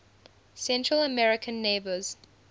central american neighbors